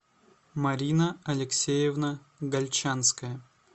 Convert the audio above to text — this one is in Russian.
марина алексеевна гальчанская